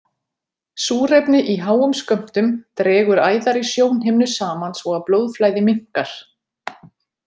Súrefni í háum skömmtum dregur æðar í sjónhimnu saman svo að blóðflæði minnkar.